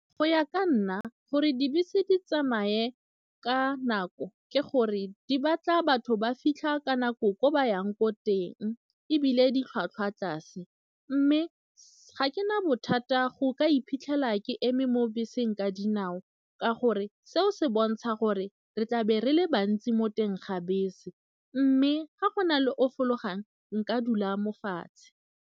Go ya ka nna gore dibese di tsamaye ka nako ke gore di batla batho ba fitlha ka nako ko ba yang ko teng ebile di tlhwatlhwa tlase mme ga ke na bothata go ka iphitlhela ke eme mo beseng ka dinao ka gore seo se bontsha gore re tlabe re le bantsi mo teng ga bese mme ga go na le o fologang nka dula mo fatshe.